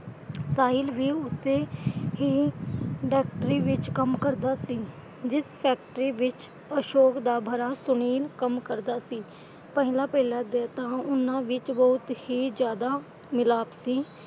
ਸਾਹਿਲ ਵੀ ਉਸੇ ਹੀ industry ਵਿਚ ਕੰਮ ਕਰਦਾ ਸੀ ਜਿਸ ਫੈਕਟਰੀ ਵਿਚ ਅਸ਼ੋਕ ਦਾ ਭਰਾ ਸੁਨੀਲ ਕੰਮ ਕਰਦਾ ਸੀ। ਪਹਿਲਾਂ ਪਹਿਲਾਂ ਤਾਂ ਉਨ੍ਹਾਂ ਵਿੱਚ ਬਹੁਤ ਹੀ ਜਿਆਦਾ ਮਿਲਾਪ ਸੀ।